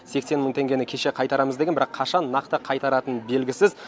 сексен мың теңгені кеше қайтарамыз деген бірақ қашан нақты қайтаратыны белгісіз